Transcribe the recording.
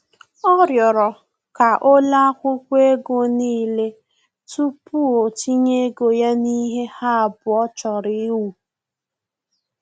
Ọ rịọrọ ka o lee akwụkwọ ego n'ile tupu o tinye ego ya na ihe ha abụọ chọrọ iwu